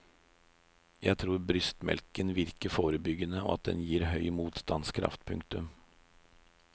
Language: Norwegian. Jeg tror brystmelken virker forebyggende og at den gir høy motstandskraft. punktum